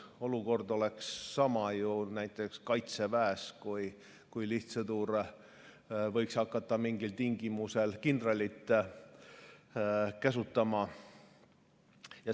Olukord oleks sama, kui näiteks kaitseväes võiks lihtsõdur hakata mingil tingimusel kindralit käsutama.